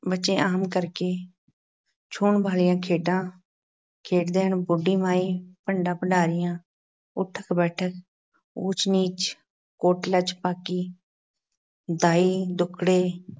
ਬੱਚੇ ਆਮ ਕਰਕੇ ਛੂਹਣ ਵਾਲੀਆਂ ਖੇਡਾਂ ਖੇਡਦੇ ਹਨ । ਬੁੱਢੀ ਮਾਈ, ਭੰਡਾ- ਭੰਡਾਰੀਆ, ਊਠਕ-ਬੈਠਕ, ਊਚ-ਨੀਚ, ਕੋਟਲਾ-ਛਪਾਕੀ, ਦਾਈਆਂ ਦੁੱਕੜੇ,